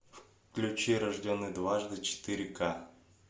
включи рожденный дважды четыре ка